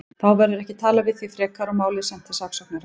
Þá verður ekki talað við þig frekar og málið sent til saksóknara.